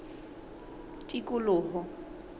tikoloho